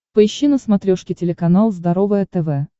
поищи на смотрешке телеканал здоровое тв